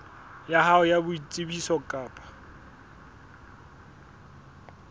ya hao ya boitsebiso kapa